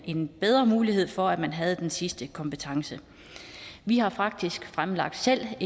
en bedre mulighed for at man havde den sidste kompetence vi har faktisk selv